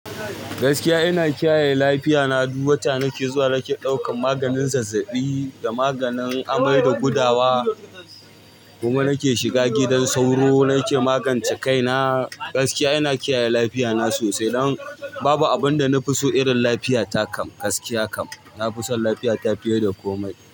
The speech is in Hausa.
Gaskiya ina kiyaye lafiya na. Du wata nake zuwa nake ɗaukan maganin zazzaɓi da maganin amai da gudawa. Kuma nake shiga gidan sauro nake magance kai na. Gaskiya ina kiyaye lafiya na sosai, dan ba abunda nafi so irin lafiya ta kam. Gaskiya kam na fi son lafiya ta fiye da komai.